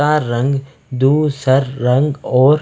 का रंग दो सर रंग और--